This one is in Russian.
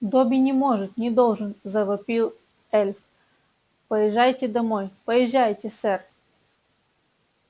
добби не может не должен завопил эльф поезжайте домой поезжайте сэр